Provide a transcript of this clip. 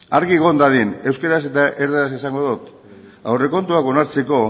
argi egon dadin euskaraz eta erderaz esango dot aurrekontuak onartzeko